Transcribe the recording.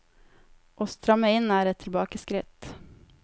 Å stramme inn er et tilbakeskritt.